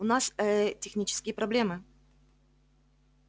у нас ээ технические проблемы